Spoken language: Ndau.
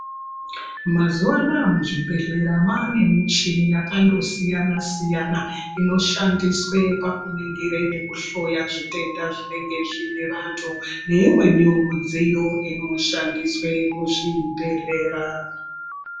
Mazuva ano aya muzvibhedhlera mwavane nemichina yakandosiyana siyana inoshandiswe pakuringire nekuhloya zvitenda zvinenge zvine vantu neimweniwo midziyo inoshandiswe muzvibhedhlera.